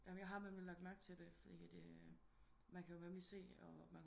Ja men jeg har nemlig lagt mærke til det fordi at man kan jo nemlig se